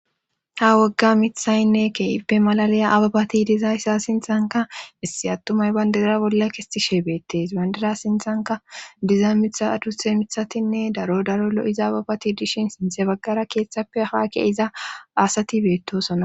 ha wagga mithaynne keippe malalaya ababati diza issa sinthanka issi attumay bayndira bolla kistishe beettees bandira sinthanka diza mitduthe mithatinne daro daro lo7iza ababati dishin sinthe baggara keeththappe haakke iza asati beettosona